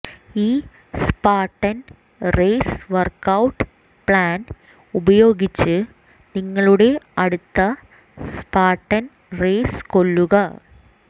ഈ Spartan race workout plan ഉപയോഗിച്ച് നിങ്ങളുടെ അടുത്ത സ്പാർട്ടൻ റേസ് കൊല്ലുക